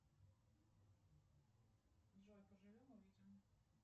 джой поживем увидим